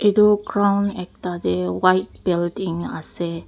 itu ground ekta tey white building ase.